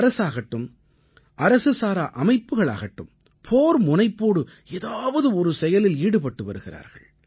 அரசாகட்டும் அரசு சாரா அமைப்புகளாகட்டும் போர் முனைப்போடு ஏதாவது ஒரு செயலில் ஈடுபட்டு வருகிறார்கள்